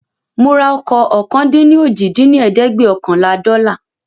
Mora ọkọ̀ ọ̀kan-dín-ní-ojì dín ní ẹ̀ẹ́dẹ́gbẹ́ọ̀kànlá dọ́là